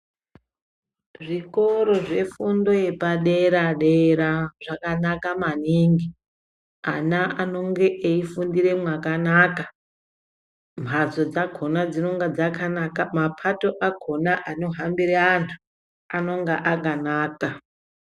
Zvikoro zvefundo yepa dera dera zvakanaka maningi ana anenge eifundire mwakanaka, mbatso dzakona dzinenge dzakanaka, mapato akona anenge eihambire vantu anonga akanaka.